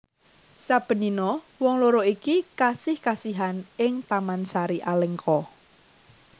Saben dina wong loro iki kasih kasihan ing taman sari Alengka